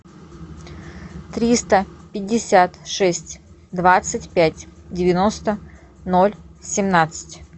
триста пятьдесят шесть двадцать пять девяносто ноль семнадцать